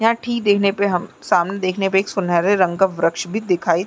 यहाँ ठीक देखने पे हम सामने देखने पे एक सुनहरे रंग का वृक्ष भी दिखाई --